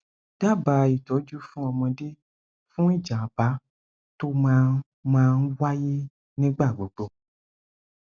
daba itoju fún ọmọdé fún ìjábá tó máa máa ń wáyé nígbà gbogbo